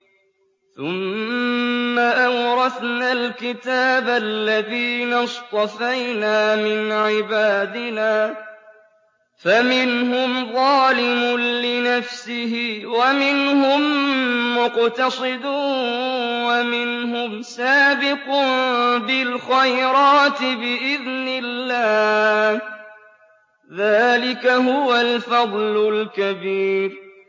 ثُمَّ أَوْرَثْنَا الْكِتَابَ الَّذِينَ اصْطَفَيْنَا مِنْ عِبَادِنَا ۖ فَمِنْهُمْ ظَالِمٌ لِّنَفْسِهِ وَمِنْهُم مُّقْتَصِدٌ وَمِنْهُمْ سَابِقٌ بِالْخَيْرَاتِ بِإِذْنِ اللَّهِ ۚ ذَٰلِكَ هُوَ الْفَضْلُ الْكَبِيرُ